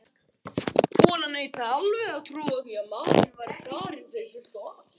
Konan neitaði alveg að trúa því að maðurinn væri farinn fyrir fullt og allt.